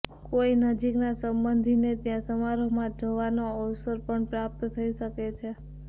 કોઇ નજીકના સંબંધીને ત્યાં સમારોહમાં જવાનો અવસર પણ પ્રાપ્ત થઇ શકે છે